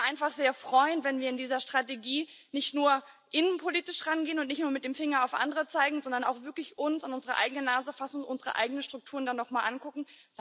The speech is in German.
Ich würde mich einfach sehr freuen, wenn wir in dieser Strategie nicht nur innenpolitisch rangehen und nicht nur mit dem Finger auf andere zeigen, sondern uns auch wirklich an unsere eigene Nase fassen und unsere eigenen Strukturen da nochmal angucken.